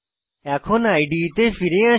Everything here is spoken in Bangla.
এখন ইদে তে ফিরে আসি